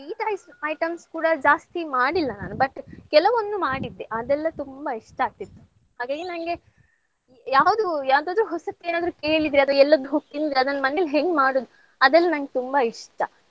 sweet ice items ಕೂಡಾ ಜಾಸ್ತಿ ಮಾಡಿಲ್ಲ ನಾನು but ಕೆಲವೊಂದು ಮಾಡಿದ್ದೆ ಅದೆಲ್ಲಾ ತುಂಬಾ ಇಷ್ಟ ಆಗ್ತಿತ್ತು ಹಾಗಾಗಿ ನಂಗೆ ಯಾವ್ದು ಯಾವದಾದ್ರು ಹೊಸತ್ ಏನಾದ್ರು ಕೇಳಿದ್ರೆ ಅದು ಎಲ್ಲಗ್ ಹೋಗ್ ತಿಂದ್ರೆ ಅದನ್ನ್ ಮನೇಲ್ ಹೆಂಗ್ ಮಾಡೋದು ಅದೆಲ್ಲ ನಂಗ್ ತುಂಬಾ ಇಷ್ಟ.